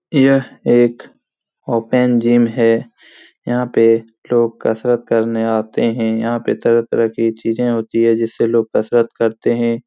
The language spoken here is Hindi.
यह एक ओपन जिम है यहाँ पे लोग कसरत करने आते हैं यहाँ पे तरह-तरह की चींजे होती हैं जिससे लोग कसरत करते हैं।